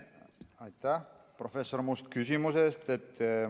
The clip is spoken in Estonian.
Aitäh, professor Must, küsimuse eest!